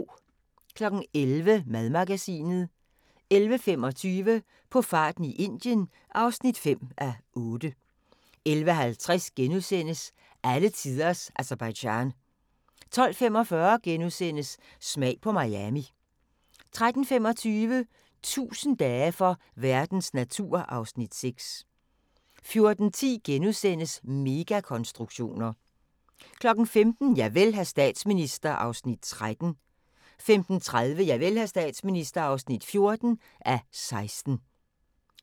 11:00: Madmagasinet 11:25: På farten i Indien (5:8) 11:50: Alletiders Aserbajdsjan * 12:45: Smag på Miami * 13:25: 1000 dage for verdens natur (Afs. 6) 14:10: Megakonstruktioner * 15:00: Javel, hr. statsminister (13:16) 15:30: Javel, hr. statsminister (14:16)